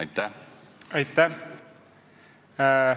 Aitäh!